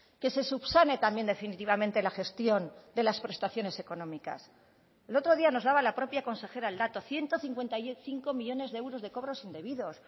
que se subsane también definitivamente la gestión de las prestaciones económicas el otro día nos daba la propia consejera el dato ciento cincuenta y cinco millónes de euros de cobros indebidos